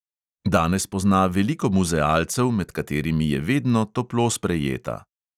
Danes pozna veliko muzealcev, med katerimi je vedno toplo sprejeta.